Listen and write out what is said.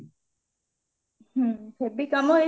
ହେବି କାମ heavy କାମ ହେଇଥିଲେ